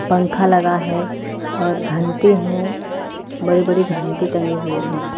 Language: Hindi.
पंखा लगा है और घंटे हैं बड़ी-बड़ी घंटे टंगे हुए हैं।